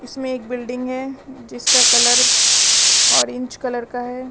इसमें एक बिल्डिंग है जिसका कलर ऑरेंज कलर का है।